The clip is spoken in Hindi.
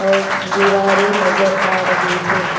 और दीवारें नजर आ रही है।